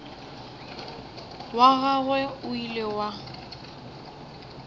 wa gagwe o ile wa